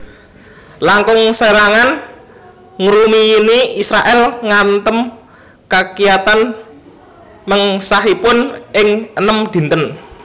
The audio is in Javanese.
Langkung serangan ngrumiyini Israèl ngantem kakiyatan mengsahipun ing enem dinten